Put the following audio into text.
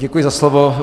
Děkuji za slovo.